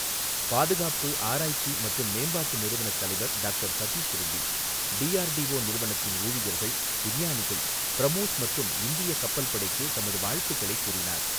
பாதுகாப்பு ஆராய்ச்சி மற்றும் மேம்பாட்டு நிறுவனத் தலைவர் டாக்டர் சதீஷ் ரெட்டி, டிஆர்டிஓ நிறுவனத்தின் ஊழியர்கள், விஞ்ஞானிகள், பிரமோஸ் மற்றும் இந்திய கப்பல் படைக்கு தமது வாழ்த்துக்களைக் கூறினார்.